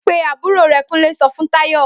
Pe àbúrò re!' Kúnlé so fún Táyò